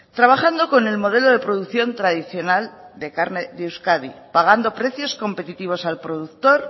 trabajando con el modelo de producción tradicional de carne de euskadi pagando precios competitivos al productor